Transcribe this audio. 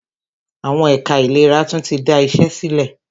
Àwọn ẹ̀ka ìlera tún tí da iṣé sílẹ̀.